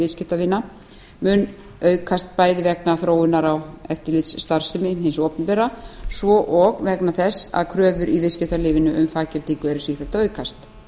viðskiptavina muni aukast bæði vegna þróunar á eftirlitsstarfsemi hins opinbera svo og vegna þess að kröfur í viðskiptalífinu um faggildingu eru sífellt að aukast